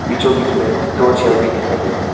बीचों बीच में दो चेयर भी दिखाई दे रहा है।